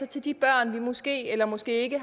til de børn vi måske eller måske ikke